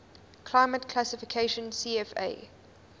climate classification cfa